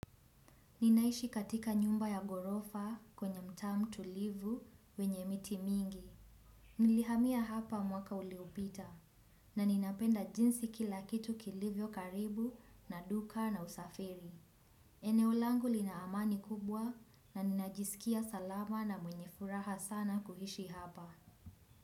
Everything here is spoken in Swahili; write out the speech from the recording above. Ninaishi katika nyumba ya ghorofa kwenye mtaa mtulivu wenye miti mingi. Nilihamia hapa mwaka uliopita na ninapenda jinsi kila kitu kilivyo karibu na duka na usafiri. Eneo langu lina amani kubwa na ninajisikia salama na mwenye furaha sana kuishi hapa.